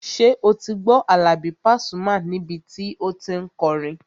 Ṣé o ti gbọ́ Àlàbí Pasuma níbi tí o tí n kọrin?